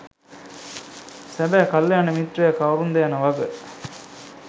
සැබෑ කල්‍යාණ මිත්‍රයා කවුරුන්ද යන වග